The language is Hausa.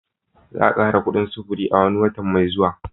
Za'a kara kuɗin sufuri a wani watan mai zuwa.